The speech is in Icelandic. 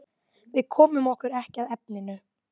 Við komum okkur ekki að efninu.